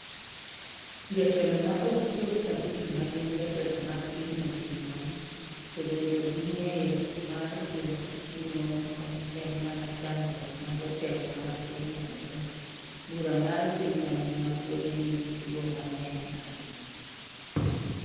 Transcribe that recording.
Jotelo ma ok chop abich ma gin jotelo mag pinyno gin mon, to bedo gi ng’eyo mar chwo gi mon ok en mana chandruok ma jotelo mag pinyno nigo - bura mar piny mangima pod nigi chwo mang’eny ahinya.